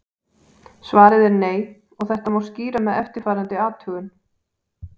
Svarið er nei og þetta má skýra með eftirfarandi athugun.